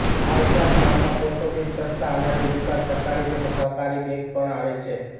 આ ઉપરાંત ગામમાં પોસ્ટ ઓફિસ સસ્તા અનાજની દુકાન સરકારી તેમજ સહકારી બેંક પણ આવેલ છે